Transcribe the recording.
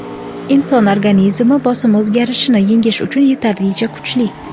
Inson organizmi bosim o‘zgarishini yengish uchun yetarlicha kuchli.